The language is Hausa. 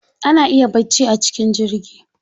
Ana iya bacci a cikin jirgi.